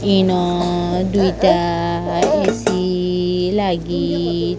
ଇନ ଦୁଇଟା କିସୀ ଲାଗି --